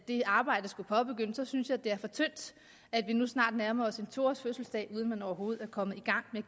det arbejde skulle påbegyndes så synes jeg at det er for tyndt at vi nu snart nærmer os en to års fødselsdag uden at man overhovedet er kommet i gang med